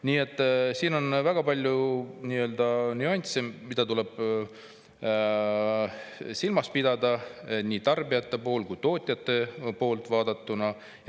Nii et siin on väga palju nüansse, mida tuleb silmas pidada nii tarbijate kui tootjate poolt vaadatuna.